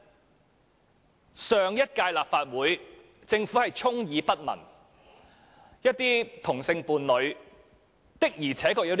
在上屆立法會，政府對此充耳不聞，但有些同性伴侶確實會有此需要。